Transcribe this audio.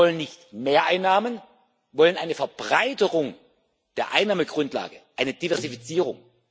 Wir wollen nicht mehr Einnahmen, wir wollen eine Verbreiterung der Einnahmengrundlage, eine Diversifizierung.